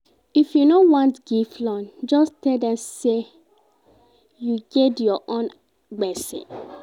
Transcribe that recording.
If you no want give loan, just tell dem sey you get your own gbese.